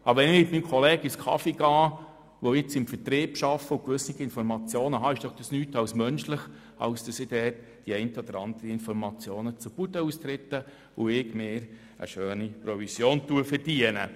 Wenn ich mit meinem im Vertrieb tätigen Kollegen einen Kaffee trinke und gewisse Informationen erhalte, ist es doch nichts als menschlich, dass ich die eine oder andere Information zur Bude hinaustrage und mir eine schöne Provision verdiene.